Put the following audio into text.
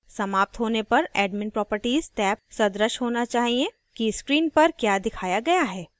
समाप्त होने पर admin properties टेब सदृश होना चाहिए कि screen पर क्या दिखाया गया है